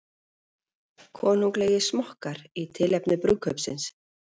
Konunglegir smokkar í tilefni brúðkaupsins